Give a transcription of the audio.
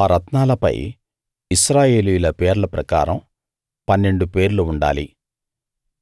ఆ రత్నాలపై ఇశ్రాయేలీయుల పేర్ల ప్రకారం పన్నెండు పేర్లు ఉండాలి